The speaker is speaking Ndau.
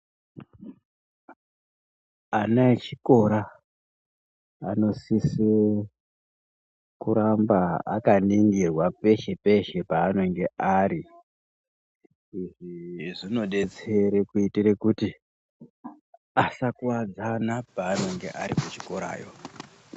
Ana echikora anosise kuramba akaningirwa peshe-peshe panenge ari. Izvi zvinodetsere kuitire kuti asakuwadzana panenge ari kuchikorayo.